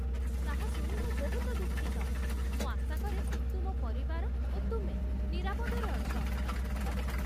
ତାହା ଶୁଣି ମୁଁ ବହୁତ ଦୁଃଖିତ, ମୁଁ ଆଶା କରେ ତୁମ ପରିବାର ଓ ତୁମେ ନିରାପଦରେ ଅଛ